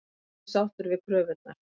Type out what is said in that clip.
Nokkuð sáttur við kröfurnar